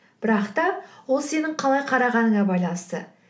бірақ та ол сенің қалай қарағаныңа байланысты